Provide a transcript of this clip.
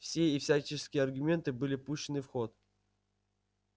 все и всяческие аргументы были пущены в ход